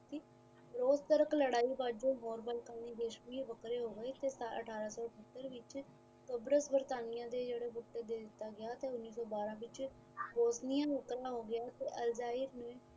ਉਸ ਤਰਕ ਲੜਾਈ ਵਜੋਂ ਮੋਰਬਲ ਦੇ ਦੇਸ਼ ਵੀ ਵੱਖਰੇ ਹੋ ਗਏ ਸਤਾਰਾਂ ਅਠਾਰਾਂ ਤੋਂ ਕਾਬਰੂਪੁਰ ਸਤਾਣੀਆਂ ਦੇ ਜੇੜੇ ਦਿੱਤਾ ਗਇਆ ਉੰਨੀ ਸੋ ਬਾਰਾਂ ਵਿੱਚ ਹੋ ਗਈਆਂ